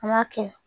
An b'a kɛ